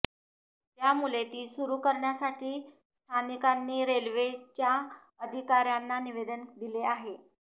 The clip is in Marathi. त्यामुले ती सुरू करण्यासाठी स्थानिकांनी रेल्वेच्या अधिकार्यांना निवेदन दिले आहे